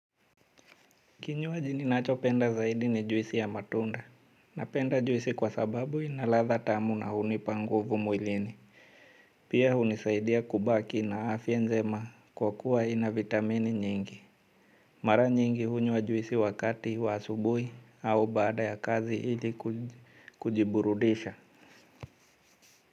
Kinywaji ninachopenda zaidi ni juisi ya matunda. Napenda juisi kwa sababu ina ladha tamu na hunipa nguvu mwilini. Pia hunisaidia kubaki na afya njema kwa kuwa ina vitamini nyingi. Mara nyingi hunywa juisi wakati wa asubuhi au baada ya kazi ili kujiburudisha.